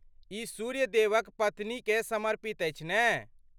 ई सूर्य देवक पत्नी केँ समर्पित अछि ने?